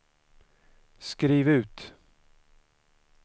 skriv ut